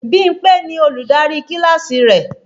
Bímpé ni Olùdarí kíláàsì rẹ̀